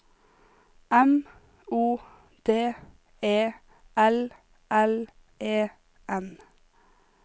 M O D E L L E N